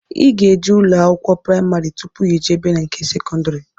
Ị ga-eje ụlọ akwụkwọ praimarị tụpụ ijebe nke sekọndri